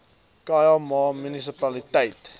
khâi ma munisipaliteit